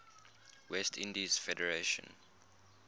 west indies federation